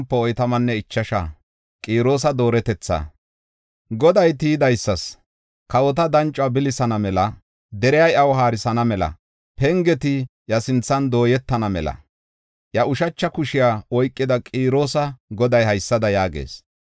Goday tiyidaysas, kawota danco bilisaana mela, deriya iyaw haarisana mela, pengeti iya sinthan dooyetana mela iya ushacha kushiya oykida Qiroosa Goday haysada yaagees: